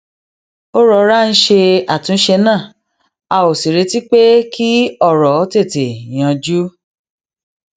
a rọra ń ṣe àtúnṣe náà a ò sì retí pé kí òrò tètè yanjú